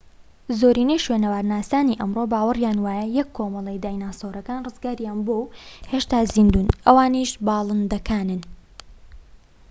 زۆرینەی شوێنەوارناسانی ئەمڕۆ باوەڕیان وایە یەک کۆمەڵەی دیناسۆرەکان ڕزگاریان بووە و هێشتا زیندوون ئەوانیش باڵندەکانن